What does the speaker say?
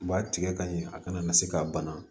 U b'a tigɛ ka ɲɛ a kana na se ka bana